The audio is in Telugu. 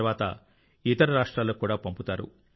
తర్వాత ఇతర రాష్ట్రాలకు కూడా పంపుతారు